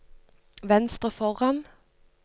venstre foran